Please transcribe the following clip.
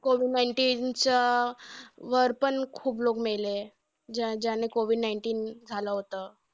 COVID nineteen च्या वर पण खूप लोकं मेले. ज्या ज्याने COVID nineteen झालं होतं.